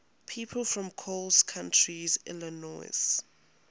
people from coles county illinois